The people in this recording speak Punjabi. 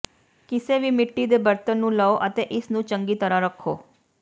ਕਿਸੇ ਵੀ ਮਿੱਟੀ ਦੇ ਬਰਤਨ ਨੂੰ ਲਓ ਅਤੇ ਇਸ ਨੂੰ ਚੰਗੀ ਤਰ੍ਹਾਂ ਰੱਖੋ